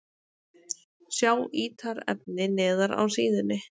Sjá ítarefni neðar á síðunni